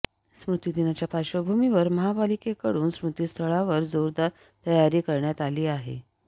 स्मृतिदिनाच्या पार्श्वभूमीवर महापालिकेकडून स्मृतिस्थळावर जोरदार तयारी करण्यात आली आहे